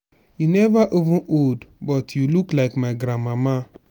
you never even old but you look like my grandmama.